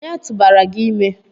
onye tụbara gi ime?